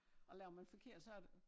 Og laver man forkert så det